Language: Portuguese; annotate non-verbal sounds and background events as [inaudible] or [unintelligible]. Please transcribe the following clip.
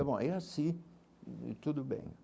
[unintelligible] É assim, e tudo bem.